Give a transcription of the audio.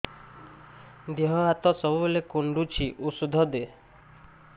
ଦିହ ହାତ ସବୁବେଳେ କୁଣ୍ଡୁଚି ଉଷ୍ଧ ଦେ